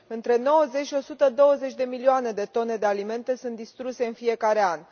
Între 90 și 120 de milioane de tone de alimente sunt distruse în fiecare an.